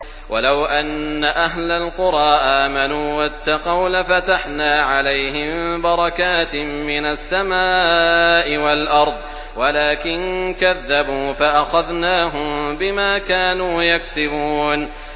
وَلَوْ أَنَّ أَهْلَ الْقُرَىٰ آمَنُوا وَاتَّقَوْا لَفَتَحْنَا عَلَيْهِم بَرَكَاتٍ مِّنَ السَّمَاءِ وَالْأَرْضِ وَلَٰكِن كَذَّبُوا فَأَخَذْنَاهُم بِمَا كَانُوا يَكْسِبُونَ